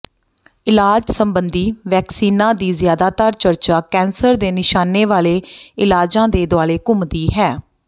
ਇਲਾਜ ਸੰਬੰਧੀ ਵੈਕਸੀਨਾਂ ਦੀ ਜ਼ਿਆਦਾਤਰ ਚਰਚਾ ਕੈਂਸਰ ਦੇ ਨਿਸ਼ਾਨੇ ਵਾਲੇ ਇਲਾਜਾਂ ਦੇ ਦੁਆਲੇ ਘੁੰਮਦੀ ਹੈ